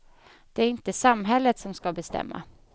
Det är inte samhället som ska bestämma.